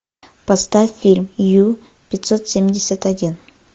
поставь фильм ю пятьсот семьдесят один